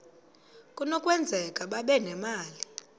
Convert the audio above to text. kunokwenzeka babe nemali